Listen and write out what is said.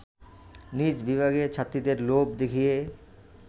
নিজ বিভাগের ছাত্রীদের লোভ দেখিয়ে